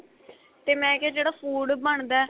ਤੇ ਮੈਂ ਕਿਹਾ ਜਿਹੜਾ food ਬਣਦਾ